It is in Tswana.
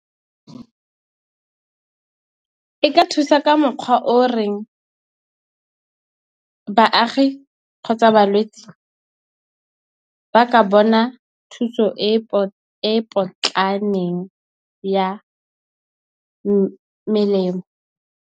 E ka thusa ka mokgwa o reng baagi, kgotsa balwetse ba ka bona thuso e e potlaneng ya melemo.